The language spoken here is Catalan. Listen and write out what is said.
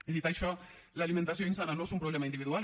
i dit això l’alimentació insana no és un problema individual